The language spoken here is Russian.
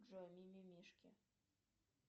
джой мимимишки